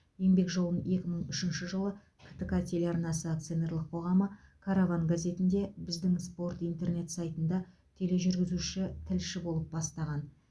еңбек жолын екі мың үшінші жылы ктк телеарнасы акционерлік қоғамы караван газетінде біздің спорт интернет сайтында тележүргізуші тілші болып бастаған